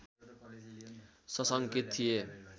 सशङ्कित थिए